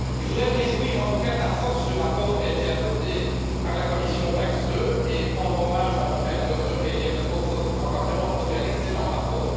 Je voudrais me réjouir, en tout cas, de la force du rapport qui a été adopté par la commission TAXE 2 et rendre hommage à Michael Theurer et à Jeppe Kofod pour avoir vraiment produit un excellent rapport.